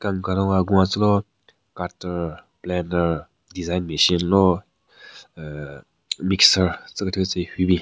Kan karun ka gun yatselo cutter blender design machine lo uuhh mixer tsü kethyu tsü hyu bin.